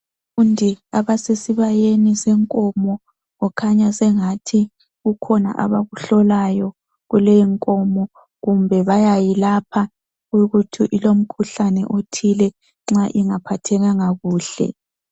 Abafundi abasesi bayeni senkomo kukhanya sengathi kukhona abakuhlolayo kuleyo nkomo kumbe bayayilapha kuyikuthi ilomkhuhlane othile nxa ingaphathekanga kuhle.